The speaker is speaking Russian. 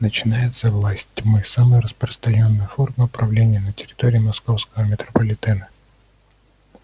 начинается власть тьмы самая распространённая форма правления на территории московского метрополитена